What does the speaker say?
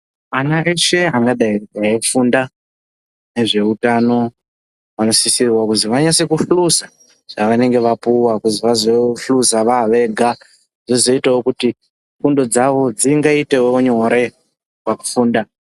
Ana eshe angadai veifunda, nezveutano ,vanosisirwa kuzwi vanase kihliza zvavanenge vapuwa kuzi vazohluzawo vaavega ,zvozoitawo kuti fundo dzavo dzingaitewo nyore pakufunda.